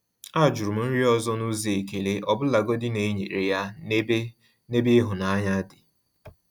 A jụrụ m nri ọzọ n’ụzọ ekele, ọbụlagodi na e nyere ya n’ebe n’ebe ịhụnanya dị.